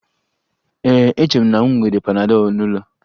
Ee, eche m na m nwere panadol n'ụlọ